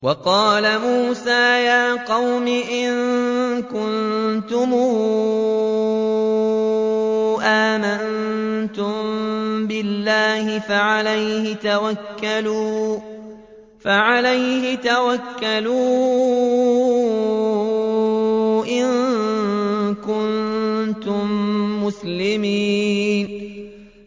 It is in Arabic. وَقَالَ مُوسَىٰ يَا قَوْمِ إِن كُنتُمْ آمَنتُم بِاللَّهِ فَعَلَيْهِ تَوَكَّلُوا إِن كُنتُم مُّسْلِمِينَ